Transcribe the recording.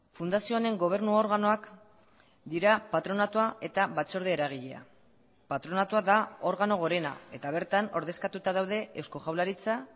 fundazio honen gobernu organoak dira patronatua eta batzorde eragilea patronatua da organo gorena eta bertan ordezkatuta daude eusko jaurlaritza